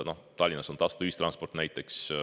Näiteks Tallinnas on tasuta ühistransport.